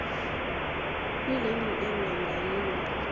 kwilearning area ngayinye